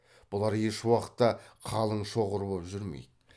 бұлар ешуақытта қалың шоғыр боп жүрмейді